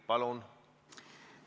Palun!